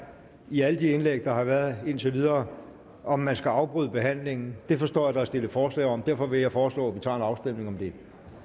i alle de indlæg der har været indtil videre om man skal afbryde behandlingen det forstår jeg der er stillet forslag om derfor vil jeg foreslå at vi tager en afstemning om det